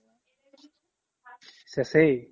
শেষে